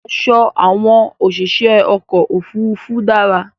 Aṣọ àwọn òṣìṣẹ́ ọkọ̀ ofúrufú dára